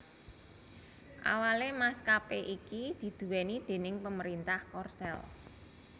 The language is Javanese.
Awalé maskapé iki diduwéni déning pemerintah Korsel